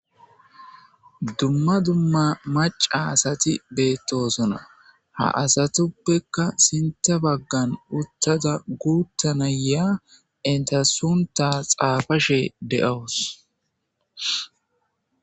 dumma dumma maca asati beettosona ha asatuppekka sinta baggan uttada guuttanaya entasunta xaafashe de7awus